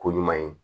Ko ɲuman ye